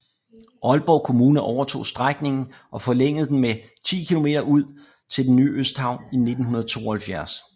Aalborg Kommune overtog strækningen og forlængede den med 10 km ud til den nye Østhavn i 1972